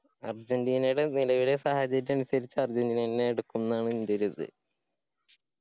ആർജിന്റീനയുടെ നിലവിലെ സാഹചര്യം അനുസരിച് അർജന്റീന എന്നെ എടുക്കും ന്ന് ആണ് എന്റെ ഒരിത്.